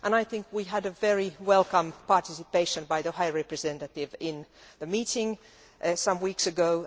I think we had a very welcome participation by the High Representative in the meeting some weeks ago.